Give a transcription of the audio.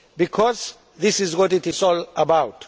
Because this is what it is all about.